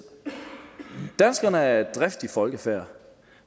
danskerne er et driftigt folkefærd